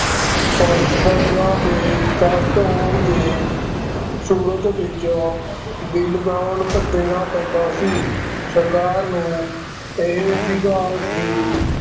ਫ ਫਸਲਾਂ ਦੇ ਘੱਟ ਹੋਣ ਦੇ ਸੂਰਤ ਵਿੱਚ ਵੀ ਲਗਾਨ ਦੇਣਾ ਪੈਂਦਾ ਸੀ, ਸਰਕਾਰ ਨੂੰ ਇਹ ਅਧਿਕਾਰ ਸੀ